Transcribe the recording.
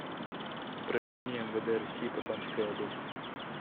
управление мвд россии по томской области